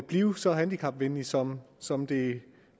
blive så handicapvenligt som som det